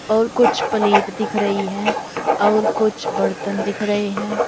और कुछ प्लेट दिख रही है और कुछ बर्तन दिख रहे हैं।